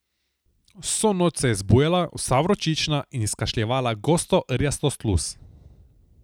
Vso noč se je zbujala, vsa vročična, in izkašljevala gosto rjasto sluz.